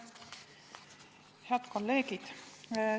Head kolleegid!